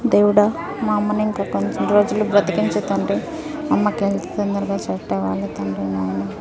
దేవుడా మా అమ్మ ని ఇంక కొన్ని రోజుల్లు బ్రతిన్చుకించు తండ్రి మా అమ్మకి హెల్త్ తొందరగా సెట్ అవ్వాలి తండ్రి నాయనా.